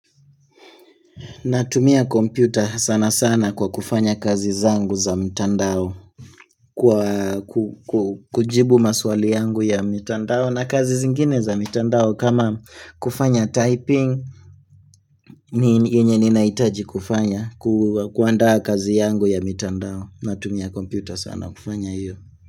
Natumia kompyuta sana sana kwa kufanya kazi zangu za mtandao kujibu maswali yangu ya mtandao na kazi zingine za mtandao kama kufanya typing yenye ninahitaji kufanya kuanda kazi yangu ya mtandao natumia kompyuta sana kufanya hiyo.